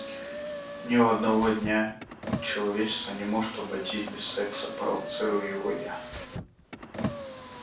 ни одного дня человечество не может обойтись без секса провоцирую его я